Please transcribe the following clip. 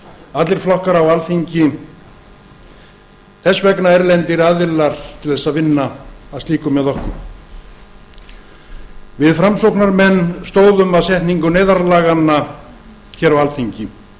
allir flokkar á alþingi þess vegna erlendir aðilar til þess að vinna að slíku með okkur við framsóknarmenn stóðum að setningu neyðarlaganna hér á alþingi